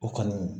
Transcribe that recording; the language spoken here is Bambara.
O kɔni